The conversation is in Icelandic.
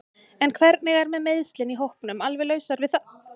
En hvernig er með meiðslin í hópnum alveg lausar við það?